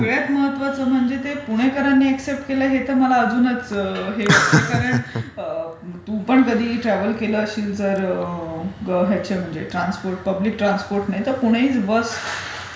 सगळ्यात महत्वाचं म्हणजे ते पुणेकरन एक्सेप्ट केलं हे तर मला अजूनच आहे. कारण टू पण कधी ट्रॅवल केल असशील जर ह्याच्यामध्ये पब्लिक ट्रान्सपोर्टने तर पुणे इज व्हर्स्ट.